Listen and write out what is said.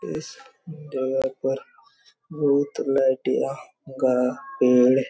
इस जगह पर बहुत लाइटियाँ गाड़ा पेड़--